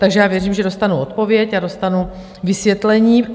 Takže já věřím, že dostanu odpověď a dostanu vysvětlení.